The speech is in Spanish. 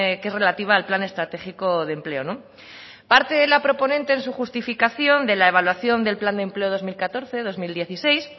que es relativa al plan estratégico de empleo parte la proponente en su justificación de la evaluación del plan de empleo dos mil catorce dos mil dieciséis